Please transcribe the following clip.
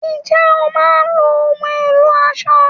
Ǹjẹ́ o máa ń lo ohùn ẹ̀lò aṣọ?